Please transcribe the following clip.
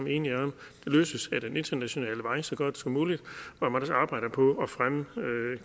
enige om det løses ad den internationale vej så godt som muligt hvor man så arbejder på at fremme